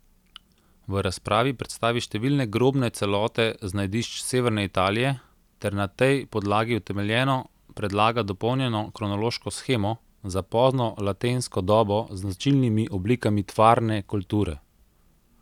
V razpravi predstavi številne grobne celote z najdišč severne Italije ter na tej podlagi utemeljeno predlaga dopolnjeno kronološko shemo za pozno latensko dobo z značilnimi oblikami tvarne kulture.